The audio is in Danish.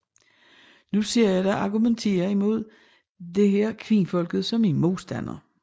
Nu ser jeg dig argumentere imod denne kvinde som en modstander